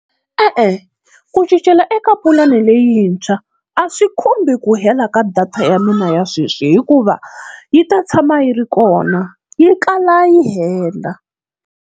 E-e ku cincela eka pulani leyintshwa a swi khumbi ku hela ka data ya mina ya sweswi, hikuva yi ta tshama yi ri kona yi kala yi hela.